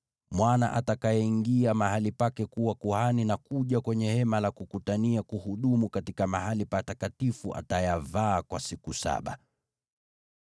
Mwana atakayeingia mahali pake kuwa kuhani na kuja kwenye Hema la Kukutania kuhudumu katika Mahali Patakatifu atayavaa kwa siku saba.